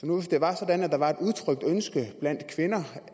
nu var sådan at der var et udtrykt ønske blandt kvinder